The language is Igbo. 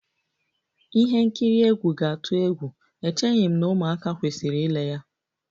Ihe nkiri egwu ga-atụ egwu, echeghị m na ụmụaka kwesịrị ile ya